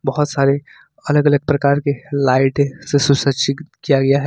बहोत सारे अलग अलग प्रकार के लाइटें से सुसज्जित किया गया हैं।